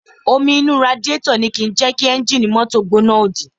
Omi inú radiátọ̀ ni kìí jẹ́ kí ẹ́ńjì mọ́tò gbóná òdì